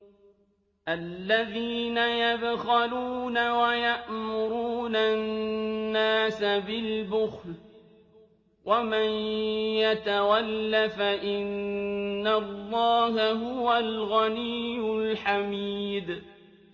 الَّذِينَ يَبْخَلُونَ وَيَأْمُرُونَ النَّاسَ بِالْبُخْلِ ۗ وَمَن يَتَوَلَّ فَإِنَّ اللَّهَ هُوَ الْغَنِيُّ الْحَمِيدُ